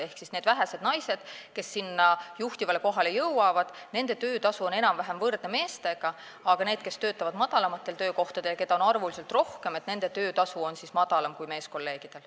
Ehk nendel vähestel naistel, kes juhtivale kohale jõuavad, on töötasu enam-vähem võrdne meeste töötasuga, aga nendel, kes töötavad madalamatel töökohtadel ja keda on rohkem, on töötasu madalam kui meeskolleegidel.